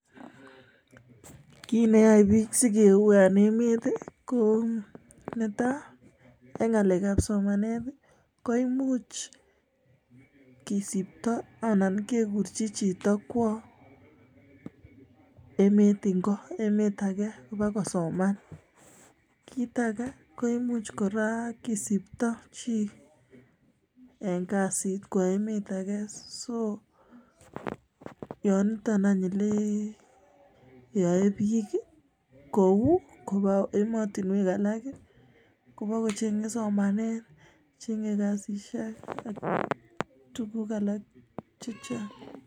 Kiit neyae biik sikou en emet ko netai, ko ng'alek ab somanet koimuch kisipto anan kekurchi chito kwo emet age kobakosoman, kiit age koimuch kora kisipto chii en kasit kwo emet age so yoitok yeyoe biik kou koba emotunwek alak kobakocheng' somanet, kasisiek ak tuguk alak chechang'.